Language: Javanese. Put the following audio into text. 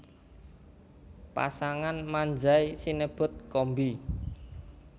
Pasangan Manzai sinebut Kombi